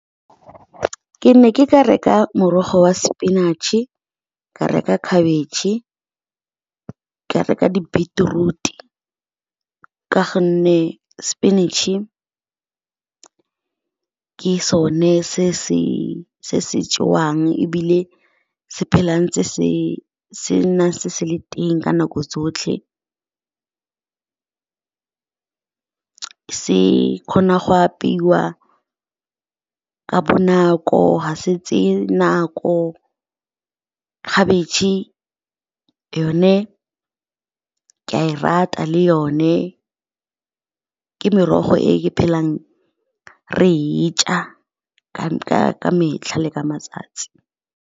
Ke ne ke ka reka morogo wa sepinatšhe, ka reka khabetšhe, ka reka di-beetroot-e, ka gonne sepinatšhe ke so ne se se jewang ebile se nna ntse se le teng ka nako tsotlhe. Se kgona go apeiwa ka bonako, ga se tseye nako. Khabetšhe yone ke a e rata, le yone ke merogo ke re phelang re e ja ka metlha le ka matsatsi.